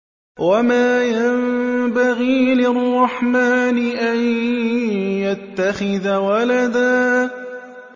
وَمَا يَنبَغِي لِلرَّحْمَٰنِ أَن يَتَّخِذَ وَلَدًا